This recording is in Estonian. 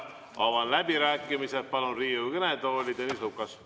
Avan läbirääkimised ja palun Riigikogu kõnetooli Tõnis Lukase.